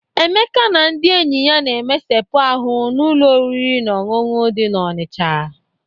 Emeka na ndị enyi ya na-emesepu ahụ n'ụlọ oriri na ọṅụṅụ dị n'Ọnịcha..